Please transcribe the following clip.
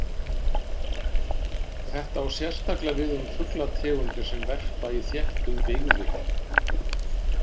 Þetta á sérstaklega við um fuglategundir sem verpa í þéttum byggðum.